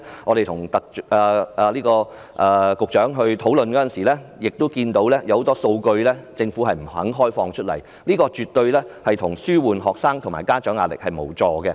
我們昨天與局長討論時注意到政府不肯公開很多數據，這絕對無助紓緩學生及家長的壓力。